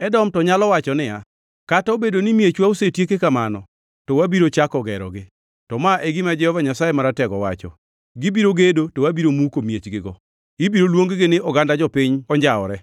Edom to nyalo wacho niya, “Kata obedo ni miechwa osetieki kamano, to wabiro chako gerogi.” To ma e gima Jehova Nyasaye Maratego wacho: “Gibiro gedo to abiro muko miechgigo. Ibiro luong-gi ni oganda jopiny onjawre,